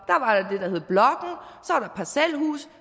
parcelhuse